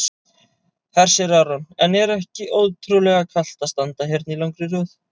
Hersir Aron: En er ekki ótrúlega kalt að standa hérna í langri röð?